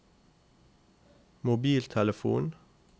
mobiltelefon